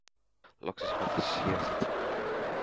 Loksins var þessi síðasti tími búinn.